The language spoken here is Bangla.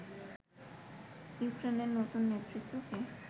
ইউক্রেনের নতুন নেতৃত্বকে